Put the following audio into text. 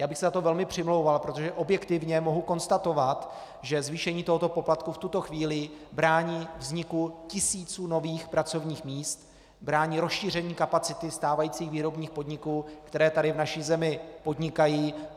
Já bych se za to velmi přimlouval, protože objektivně mohu konstatovat, že zvýšení tohoto poplatku v tuto chvíli brání vzniku tisíců nových pracovních míst, brání rozšíření kapacity stávajících výrobních podniků, které tady v naší zemi podnikají.